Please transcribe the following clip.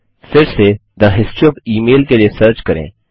फिर से the history O F email के लिए सर्च करें